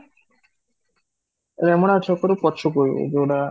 ରେମଣା ଛକ ପଛକୁ ଯୋଉଟା